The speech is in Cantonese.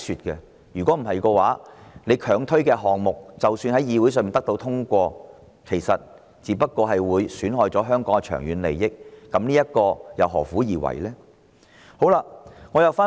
不然，政府強推的項目雖然獲議會通過，卻損害了香港的長遠利益，何苦而為呢？